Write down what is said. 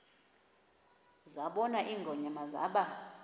zabona ingonyama zaba